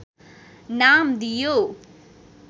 नाम दिइयो